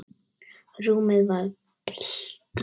Rúmið var bælt.